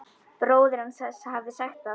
Bróðir hans hafði sagt satt.